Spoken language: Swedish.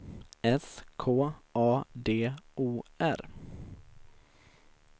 S K A D O R